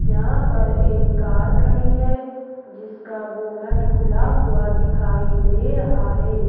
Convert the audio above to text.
यहां पर एक कार खड़ी है जिसका बोनट खुला हुआ दिखाई दे रहा है।